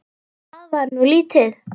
Það var nú lítið!